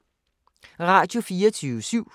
Radio24syv